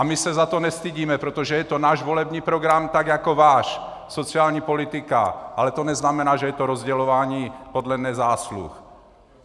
A my se za to nestydíme, protože je to náš volební program tak jako váš, sociální politika, ale to neznamená, že je to rozdělování podle nezásluh.